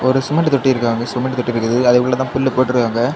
ஒரு சிமெண்ட் தொட்டி இருக்கு அந்த சிமெண்ட் அதுக்குள்ளதான் புல்லு போட்ருக்காங்க.